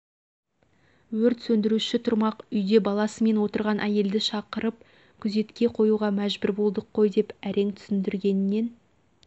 өрт сөндіруші тұрмақ үйде баласымен отырған әйелді шақырып күзетке қоюға мәжбүр болдық қой деп әрең түсіндіргенен